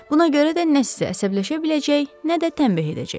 Buna görə də nə sizə əsəbləşə biləcək, nə də tənbeh edəcək.